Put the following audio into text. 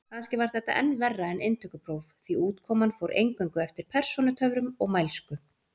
Kannski var þetta enn verra en inntökupróf, því útkoman fór eingöngu eftir persónutöfrum og mælsku.